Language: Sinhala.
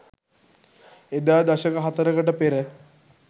එදා දශක හතරකට පෙර